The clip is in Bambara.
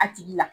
A tigi la